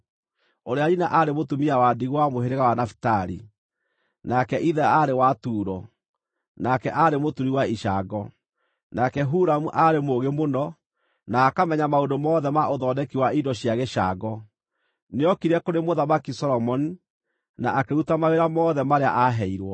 ũrĩa nyina aarĩ mũtumia wa ndigwa wa mũhĩrĩga wa Nafitali, nake ithe aarĩ wa Turo, nake aarĩ mũturi wa icango. Nake Huramu aarĩ mũũgĩ mũno, na akamenya maũndũ mothe ma ũthondeki wa indo cia gĩcango. Nĩookire kũrĩ Mũthamaki Solomoni, na akĩruta mawĩra mothe marĩa aaheirwo.